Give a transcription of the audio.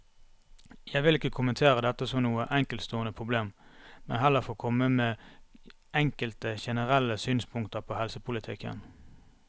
Jeg vil ikke kommentere dette som noe enkeltstående problem, men heller få komme med enkelte generelle synspunkter på helsepolitikken.